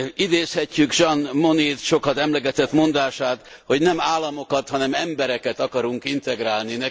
Idézhetjük Jean Monet sokat emlegetett mondását, hogy nem államokat, hanem embereket akarunk integrálni.